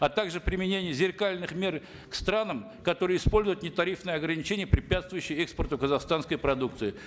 а также применение зеркальных мер к странам которые используют нетарифные ограничения препятствующие экспорту казахстанской продукции